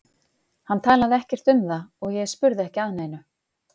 Hann talaði ekkert um það og ég spurði ekki að neinu.